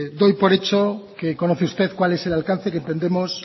doy por hecho que conoce usted cuál es el alcance que entendemos